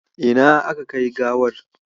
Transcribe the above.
Ina aka kai gawar?